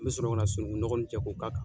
N mi sɔrɔ ka sunugu nɔgɔ nin cɛ ko ka kan.